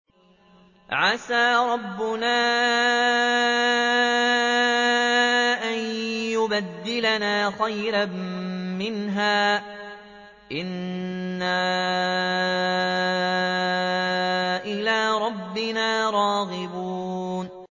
عَسَىٰ رَبُّنَا أَن يُبْدِلَنَا خَيْرًا مِّنْهَا إِنَّا إِلَىٰ رَبِّنَا رَاغِبُونَ